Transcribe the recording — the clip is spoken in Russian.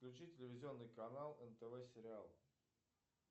включи телевизионный канал нтв сериал